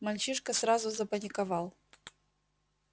мальчишка сразу запаниковал